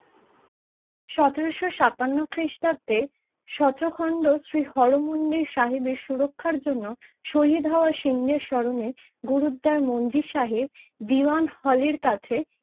সতেরোশো সাতান্নো খিষ্টাব্দে সচোখণ্ড শ্রী হর মন্দর সাহেবের সুরক্ষার জন্য শহীদ হওয়া সিং দের স্মরণে গুরুদার মঞ্জি সাহেব দিওয়ান হলের কাছে